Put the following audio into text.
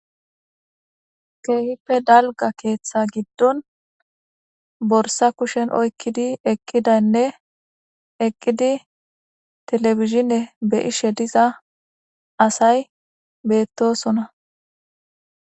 keehippe dalga keeththa giddon borsa kushen oykkidi eqqidaynne eqqidi telefizhine beishe diza asay beettosona